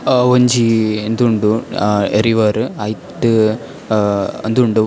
ಅಹ್ ಒಂಜಿ ಇಂದ್ ಉಂಡು ಅಹ್ ರಿವರ್ ಐಟ್ ಅಹ್ ಉಂದುಂಡು --